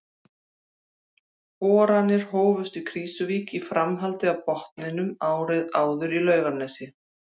Boranir hófust í Krýsuvík í framhaldi af borunum árið áður í Laugarnesi.